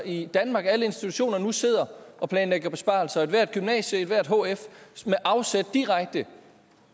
i danmark nu sidder og planlægger besparelser og ethvert gymnasium ethvert hf med afsæt direkte